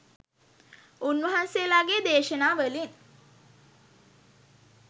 උන්වහන්සේලාගේ දේශනා වලින්